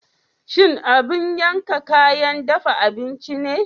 Shin abin yanka kayan dafa abinci ne?